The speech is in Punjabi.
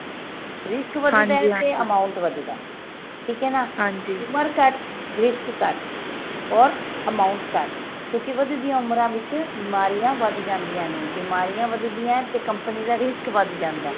risk ਵਧਦਾ ਤੇ amount ਵਧਦਾ ਠੀਕ ਆ ਨਾ ਉਮਰ ਘੱਟ risk ਘੱਟ ਹੋਰ amount ਘੱਟ ਕਿਉਂਕਿ ਵਧਦੀਆਂ ਉਮਰਾਂ ਵਿੱਚ ਬਿਮਾਰੀਆਂ ਵੱਧ ਜਾਂਦੀਆਂ ਨੇ ਬਿਮਾਰਿਯਾ ਵਧਦੀਆਂ ਤੇ company ਦਾ risk ਵੱਧ ਜਾਂਦਾ